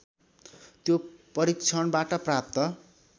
त्यो परीक्षणबाट प्राप्त